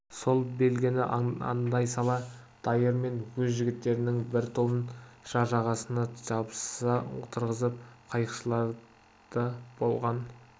сол белгіні аңдай сала дайыр мен өз жігіттерінің бір тобын жар жағасына жабыса отырғызып қайықшыларды болған